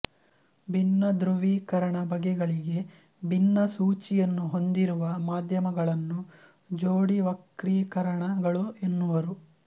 ಭಿನ್ನ ಧ್ರುವೀಕರಣ ಬಗೆಗಳಿಗೆ ಭಿನ್ನ ಸೂಚಿಯನ್ನು ಹೊಂದಿರುವ ಮಾಧ್ಯಮಗಳನ್ನು ಜೋಡಿವಕ್ರೀಕರಣ ಗಳು ಎನ್ನುವರು